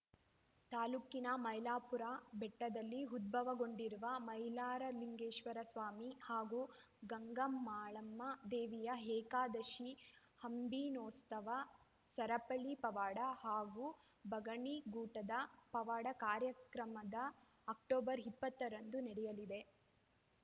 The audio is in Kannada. ತಾಲೂಕಿನ ಮೈಲಾರಪುರ ಬೆಟ್ಟದಲ್ಲಿ ಉದ್ಭವಗೊಂಡಿರುವ ಮೈಲಾರಲಿಂಗೇಶ್ವರ ಸ್ವಾಮಿ ಹಾಗೂ ಗಂಗಮಾಳಮ್ಮ ದೇವಿಯ ಏಕಾದಶಿ ಅಂಬಿನೋತ್ಸವ ಸರಪಳಿ ಪವಾಡ ಹಾಗೂ ಬಗಣಿ ಗೂಟದ ಪವಾಡ ಕಾರ್ಯಕ್ರಮದ ಅಕ್ಟೋಬರ್ ಇಪ್ಪತ್ತರಂದು ನಡೆಯಲಿದೆ